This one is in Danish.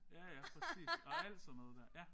Ja ja præcis og alt sådan noget der ja